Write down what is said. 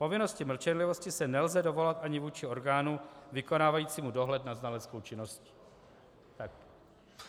Povinnosti mlčenlivosti se nelze dovolat ani vůči orgánu vykonávajícímu dohled nad znaleckou činností.